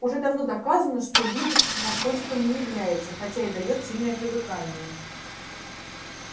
уже давно доказано что линукс наркотиком не является хотя и даёт сильное привыкание